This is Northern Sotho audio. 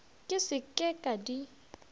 ke se ke ka di